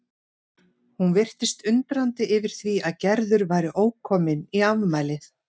Hún virtist undrandi yfir því að Gerður væri ókomin í afmælið.